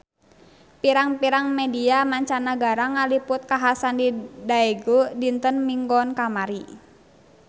Pirang-pirang media mancanagara ngaliput kakhasan di Daegu dinten Minggon kamari